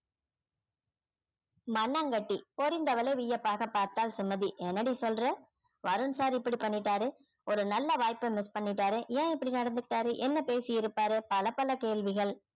மண்ணாங்கட்டி பொரிந்தவளை வியப்பாக பார்த்தாள் சுமதி என்னடி சொல்ற வருண் sir இப்படி பண்ணிட்டாரு ஒரு நல்ல வாய்ப்பை miss பண்ணிட்டாரு ஏன் இப்படி நடந்துகிட்டாரு என்ன பேசியிருப்பாரு பல பல கேள்விகள்